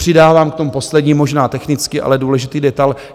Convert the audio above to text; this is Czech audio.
Přidávám k tomu poslední, možná technický, ale důležitý detail.